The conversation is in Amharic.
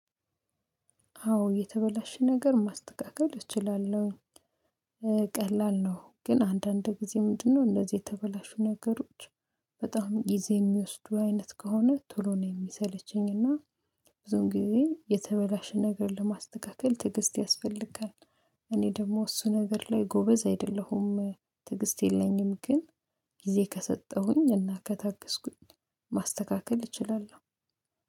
አዎ የተበላሽ ነገር ማስተካከል እችላለሁኝ። ቀላል ነው ግን አንድ አንድ ጊዜ ምንድነው? እንዚህ የተበላሹ ነገሮች። በጣም ጊዜ የሚወሰዱ አይነት ከሆነ ቶሎ ነው የሚሰለችኝ እና። ብዙ ጊዜ የተበላሽ ነገር ለማስተካከል ትግስት ያስፈልጋል። ብዙም ጊዜ የተበላሸ ነገር ለማስተካከል ትግስት ያስፈልጋል ትግስት የለኝም። ግን ጊዜ ከሰጠሁኝ እና ከታገስኩኝ ማስተካከል እችላለሁ።